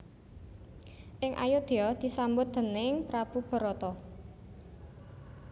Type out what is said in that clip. Ing Ayodya disambut déning prabu Barata